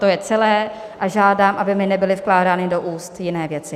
To je celé a žádám, aby mi nebyly vkládány do úst jiné věci.